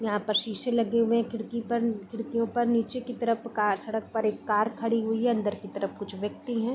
यहाँ पर शीशे लगे हुए हैं खिड़की पर खिड़कीयों पर नीचे की तरफ कार सड़क पर एक कार खड़ी हुई है अंदर की तरफ कुछ व्यत्कि हैं।